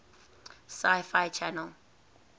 sci fi channel